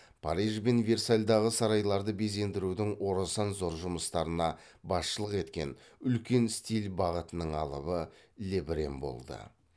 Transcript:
париж бен версальдағы сарайларды безендірудің орасан зор жұмыстарына басшылық еткен үлкен стиль бағытының алыбы лебрен болды